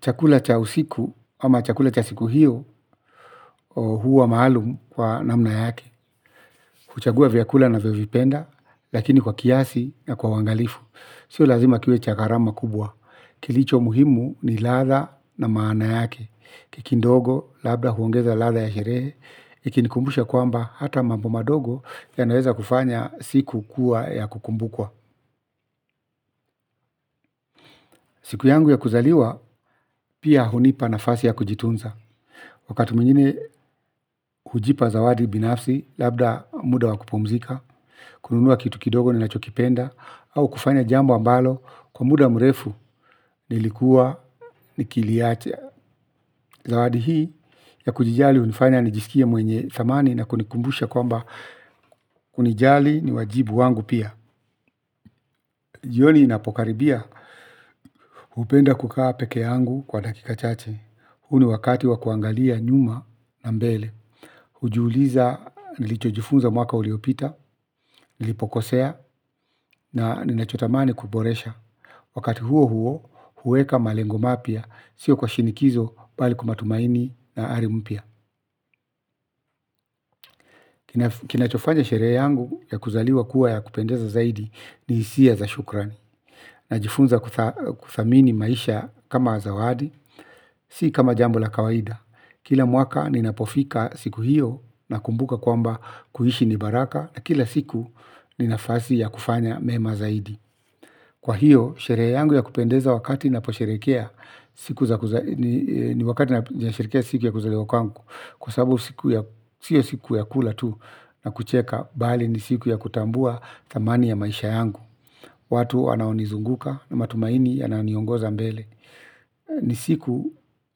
Chakula cha usiku ama chakula cha siku hiyo huwa maalum kwa namna yake. Kuchagua vyakula navyovipenda lakini kwa kiasi na kwa uwangalifu sio lazima kiwe cha garama kubwa. Kilicho muhimu ni latha na maana yake. Kekindogo labda huongeza latha ya sherehe. Ikinikumbusha kwamba hata mambo madogo ya naweza kufanya siku kuwa ya kukumbukwa. Siku yangu ya kuzaliwa pia hunipa nahasi ya kujitunza. Wakati mwingine hujipa zawadi binafsi, labda muda wakupumzika, kununua kitu kidogo ni nachokipenda, au kufanya jambo ambalo kwa muda mrefu nilikuwa nikiliacha. Zawadi hii ya kujijali unifanya nijisikie mwenye thamani na kunikumbusha kwamba unijali ni wajibu wangu pia. Jioni inapokaribia upenda kukaa peke yangu kwa dakika chache. Huu ni wakati wakuangalia nyuma na mbele. Ujiuliza nilichojifunza mwaka uliopita, nilipokosea na ninachotamani kuboresha. Wakati huo huo, huweka malengo mapya, sio kwa shinikizo bali kumatumaini na ari mpya. Kinachofanya sherehe yangu ya kuzaliwa kuwa ya kupendeza zaidi ni hisia za shukrani. Najifunza kuthamini maisha kama zawadi, si kama jambo la kawaida. Kila mwaka ninapofika siku hiyo nakumbuka kwamba kuhishi ni baraka na kila siku ni nafasi ya kufanya mema zaidi. Kwa hiyo, sherehe yangu ya kupendeza wakati naposherekea, ni wakati na sherekea siku ya kuzaliwa kwangu. Kwa sababu siku ya, sio siku ya kula tu na kucheka, bali ni siku ya kutambua thamani ya maisha yangu. Watu wanaonizunguka na matumaini yanayoniongoza mbele ni siku